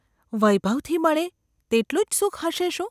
‘વૈભવથી મળે તેટલું જ સુખ હશે શું?